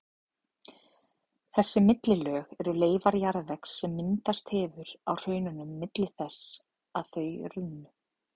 Þessi millilög eru leifar jarðvegs sem myndast hefur á hraununum milli þess að þau runnu.